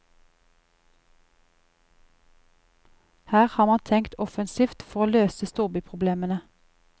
Her har man tenkt offensivt for å løse storbyproblemene.